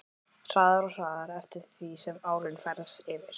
Hraðar og hraðar eftir því sem árin færast yfir.